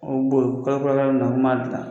boru kalo filanan na ku m'a dilan.